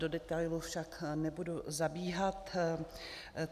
Do detailů však nebudu zabíhat.